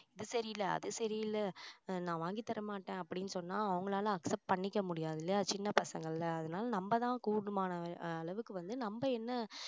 இது சரியில்ல அது சரியில்ல நான் வாங்கி தரமாட்டேன் அப்படின்னு சொன்னா அவங்களால accept பண்ணிக்க முடியாது இல்லையா சின்ன பசங்கல்ல அதனால நம்ம தான் கூடுமான அளவுக்கு வந்து நம்ப என்ன